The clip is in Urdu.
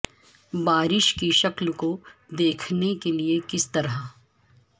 بارش کی شکل کو دیکھنے کے لئے کس طرح